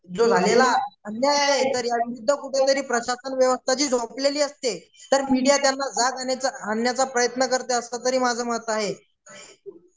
जो झालेला अन्याय आहे टीआर ह्या विरुद्ध प्रशासन व्यसथा जी झोपलेली असते तर मीडिया त्यांना जग आणण्याचा प्रयत्न करते असतं तरी माझं मत आहे.